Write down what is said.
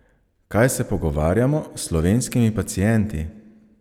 Kaj se pogovarjamo s slovenskimi pacienti?